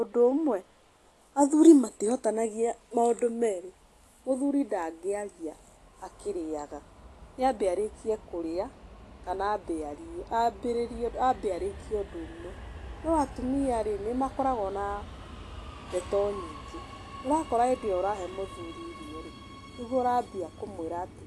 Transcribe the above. Ũndũ ũmwe athuri matihotanagia maũndũ meerĩ, mũthuri ndangĩaria akĩrĩaga. Nĩ ambe arĩkia kurĩa kana ambe arie, ambĩrĩrie ambe arĩkie ũndũ ũmwe. No atumia, nĩmakoragwo na ndeto nyingĩ, ũrakora hĩndĩ ĩo ũrahe mũthuri irio-rĩ, nĩguo ũrambia kumũĩra atĩ;